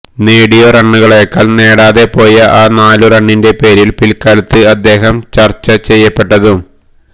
നേടിയ റണ്ണുകളേക്കാള് നേടാതെ പോയ ആ നാലു റണ്ണിന്റെ പേരില് പില്ക്കാലത്ത് അദ്ദേഹം ചര്ച്ച ചെയ്യപ്പെട്ടതും